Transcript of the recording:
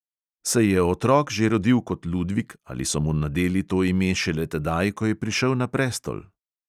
Se je otrok že rodil kot ludvik ali so mu nadeli to ime šele tedaj, ko je prišel na prestol?